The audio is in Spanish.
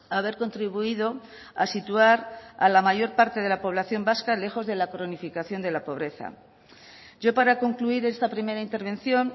a haber contribuido a situar a la mayor parte de la población vasca lejos de la cronificación de la pobreza yo para concluir esta primera intervención